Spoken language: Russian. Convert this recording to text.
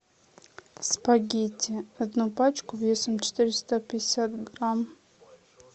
спагетти одну пачку весом четыреста пятьдесят грамм